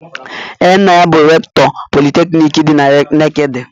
Ee, nna ya bụ rektọ politekniki dị na Nekede.